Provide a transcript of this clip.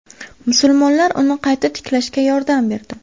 Musulmonlar uni qayta tiklashga yordam berdi.